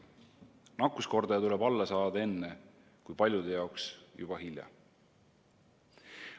Nakkuskordaja tuleb alla saada enne, kui paljude jaoks on juba hilja.